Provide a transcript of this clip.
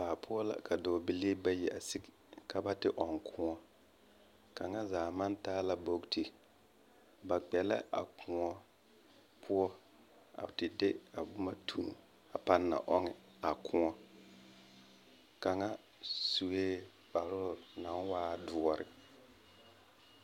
Baa poɔ la a ka dɔɔbilii ayi gaa ka ba ɔŋ kõɔ. Kaŋa zaa ma taa la bogiti. Ba kpɛ la a kõɔ poɔ a te de a boma tu a pãã na ɔŋ a kõɔ. Kaŋa sue kparoo naŋ waa doɔre.